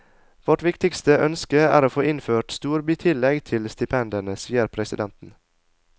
Vårt viktigste ønske er å få innført et storbytillegg til stipendene, sier presidenten.